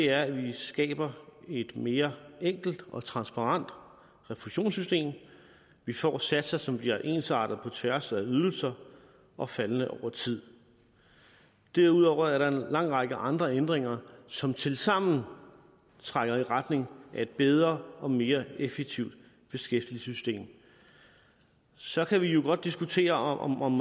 er at vi skaber et mere enkelt og transparent refusionssystem vi får satser som bliver ensartede på tværs af ydelser og faldende over tid derudover er der en lang række andre ændringer som tilsammen trækker i retning af et bedre og mere effektivt beskæftigelsessystem så kan vi jo godt diskutere om om